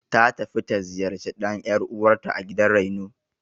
Ta tafi ta ziyarci ɗan ƴar'uwanrta a gidan raino.